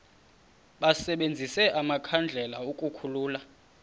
basebenzise amakhandlela ukukhulula